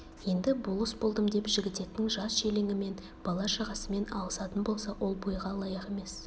енді болыс болдым деп жігітектің жас-желеңімен бала-шағасымен алысатын болса ол бойға лайық емес